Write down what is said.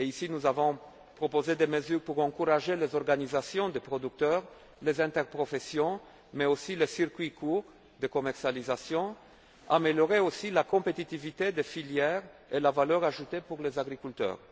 Nous avons proposé ici des mesures pour encourager les organisations de producteurs, les interprofessions mais aussi le circuit court de commercialisation à améliorer également la compétitivité des filières et la valeur ajoutée pour les agriculteurs.